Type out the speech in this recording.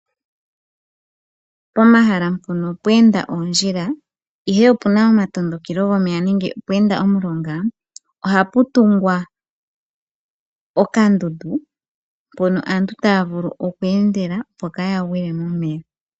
Pomahala mpono pweenda oondjila ihe opu na omatondokelo gomeya nenge pwe enda omulonga, ohapu tungwa ontopa mpoka aantu taya vulu okweenda opo kaa gwile momeya.